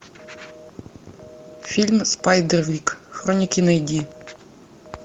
фильм спайдер вик хроники найди